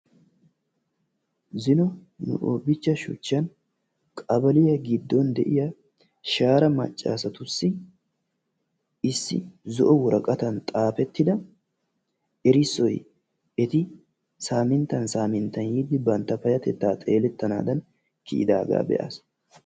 zino hobichcha shuchchan qabaliya giddon de'iya shaara maccasatussi issi zo'o woraqatan xaafettida erissoy eti saaminttan saminttan yiidi bantta payatettaa xeelettanaadan kiyidaaga be'aas.